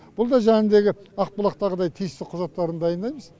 бұл да жаңағындегі ақбұлақтағыдай тиісті құжаттарын дайындаймыз